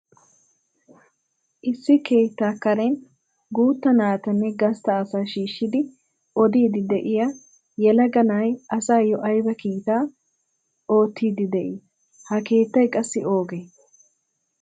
Issi keettaa karen guutta natanne gastta asaa shiishidi odiidi de'iyaa yelaga na'ay asayo ayba kiitaa oottiidi de'ii? Ha keettay qassi oogee?